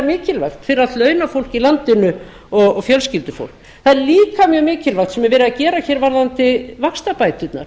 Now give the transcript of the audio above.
mikilvægt fyrir allt launafólk í landinu og fjölskyldufólk það er líka mjög mikilvægt sem er verið að gera varðandi vaxtabæturnar